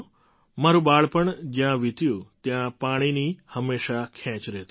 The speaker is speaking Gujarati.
મારું બાળપણ જ્યાં વિત્યું ત્યાં પાણીની હંમેશાં ખેંચ રહેતી હતી